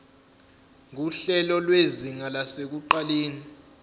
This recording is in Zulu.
nguhlelo lwezinga lasekuqaleni